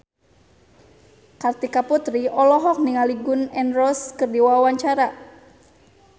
Kartika Putri olohok ningali Gun N Roses keur diwawancara